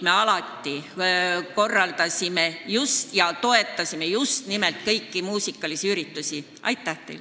Me alati korraldasime ja toetasime muul moel kõiki muusikaüritusi sel päeval.